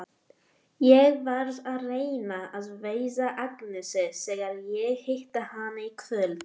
Ég verð að reyna að veiða Agnesi þegar ég hitti hana í kvöld.